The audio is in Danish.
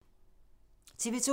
TV 2